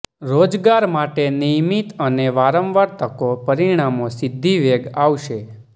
રોજગાર માટે નિયમિત અને વારંવાર તકો પરિણામો સિદ્ધિ વેગ આવશે